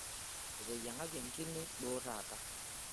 Eteyiang'aki enkine duo taata.